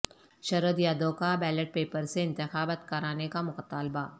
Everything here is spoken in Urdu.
شرد یادو کا بیلٹ پیپر سے انتخابات کرانے کا مطالبہ